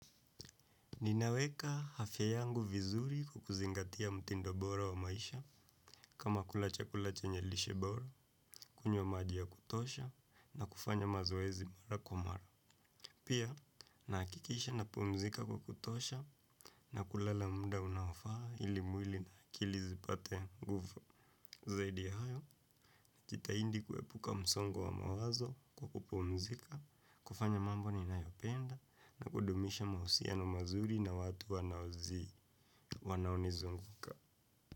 Ninaweka afya yangu vizuri kwa kuzingatia mtindo bora wa maisha, kama kula chakula chenye lishe bora, kunywa maji ya kutosha, na kufanya mazoezi mara kwa mara. Pia, nahakikisha napumzika kwa kutosha, na kulala muda unaofaa ili mwili na akili zipate nguvu. Zaidi ya hayo, najitahidi kuepuka msongo wa mawazo kwa kupumzika, kufanya mambo ninayo penda, na kudumisha mahusiano mazuri na watu wanaozii. Wanao nizunguka.